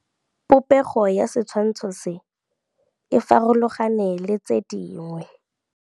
Popêgo ya setshwantshô se, e farologane le tse dingwe.